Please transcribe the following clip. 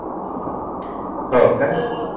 हो काय